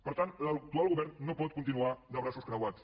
per tant l’actual govern no pot continuar de braços creuats